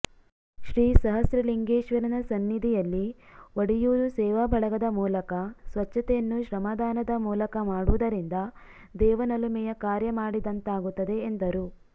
ಶ್ರೀ ಸಹಸ್ರಲಿಂಗೇಶ್ವರನ ಸನ್ನಿಧಿಯಲ್ಲಿ ಒಡಿಯೂರು ಸೇವಾ ಬಳಗದ ಮೂಲಕ ಸ್ವಚ್ಚತೆಯನ್ನು ಶ್ರಮದಾನದ ಮೂಲಕ ಮಾಡುವುದರಿಂದ ದೇವನೊಲುಮೆಯ ಕಾರ್ಯ ಮಾಡಿದಂತಾಗುತ್ತದೆ ಎಂದರು